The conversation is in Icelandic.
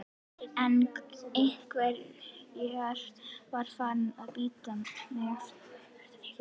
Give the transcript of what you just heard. En einveran var farin að bíta mig hér.